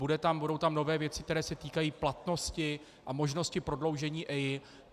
Budou tam nové věci, které se týkají platnosti a možnosti prodloužení EIA.